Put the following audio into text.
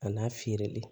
A n'a feereli